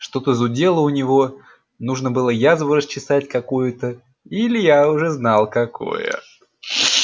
что-то зудело у него нужно было язву расчесать какую-то и илья уже знал какую